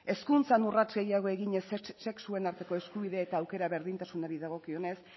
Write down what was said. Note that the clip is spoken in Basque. hezkuntzan urrats gehiago eginez sexuen arteko eskubide eta aukera berdintasunari dagokionez